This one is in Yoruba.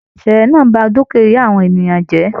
Ìṣẹlẹ náà bá dukia àwọn ènìyàn jẹ.